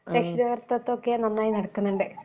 രക്ഷാകർത്തിത്വം ഒക്കെ നന്നായി നടക്കുന്നുണ്ട്